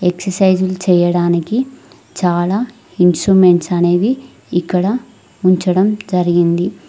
ఎక్ససైసులు చేయడానికి చాలా ఇన్స్ట్రుమెంట్స్ అనేవి ఇక్కడ ఉంచడం జరిగింది.